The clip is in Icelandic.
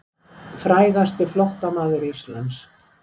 Frægasti flóttamaður Íslands.